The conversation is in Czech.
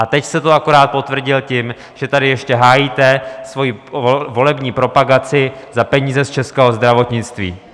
A teď jste to akorát potvrdil tím, že tady ještě hájíte svoji volební propagaci za peníze z českého zdravotnictví.